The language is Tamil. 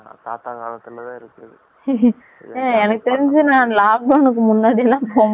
எனக்கு தெரிஞ்சு lockdown கு முன்னடி எல்லாம் நூத்தி இருபது ரூபாய்க்கு பொய்ரிக்கோம்